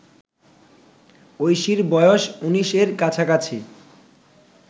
ঐশীর বয়স ১৯ এর কাছাকাছি